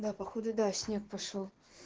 да походу да снег пошёл